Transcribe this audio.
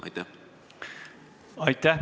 Aitäh!